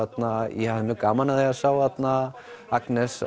ég hafði mjög gaman af því að sjá þarna Agnes